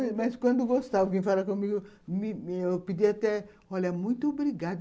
Mas quando gostava, alguém falava comigo... Eu pedia até... Olha, muito obrigada.